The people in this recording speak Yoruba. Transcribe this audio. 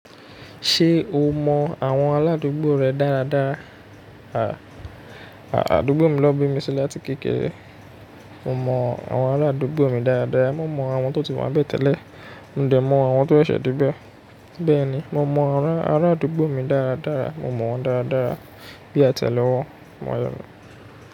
Ṣé o mọ àwọn aládùúgbò rẹ dáradára? Àádùúgbò mi ló bí mi sílẹ̀ àti kékeré. Mo mọ àwọn aládùúgbò mi dáradára. Mo mọ àwọn tó ti wá bẹ́ tẹ́lẹ̀, mo dẹ̀ mọ àwọn tó ṣẹ̀se debe. Bẹ́ẹ̀ni, mo mọ àwọn arádùúgbò mi dáradára. Mo mọ wọ́n dáradára bí a tẹ̀lé wọn mọ́ yàn.